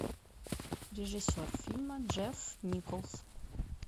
режиссер фильма джефф николс